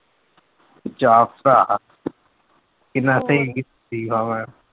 ਜਾ ਭਰਾ ਕਿੰਨਾ ਤੇ ਸਰੀਫ਼ ਮੈਂ।